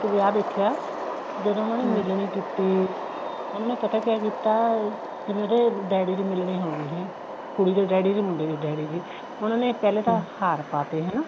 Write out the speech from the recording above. ਇੱਕ ਵਿਆਹ ਦੇਖਿਆ ਜਦੋਂ ਉਹਨਾ ਨੇ ਕੀਤੀ ਉਹਨਾ ਨੇ ਪਤਾ ਕਿਆ ਕੀਤਾ ਜਿਵੇਂ ਉਹਦੇ daddy ਦੀ ਮਿਲਣੀ ਹੋਗੀ ਹੈ ਕੁੜੀ ਦੇ daddy ਦੀ ਮੁੰਡੇ ਦੇ daddy ਦੀ ਉਹਨਾ ਨੇ ਪਹਿਲੇ ਤਾਂ ਹਾਰ ਪਾਤੇ ਹਨਾ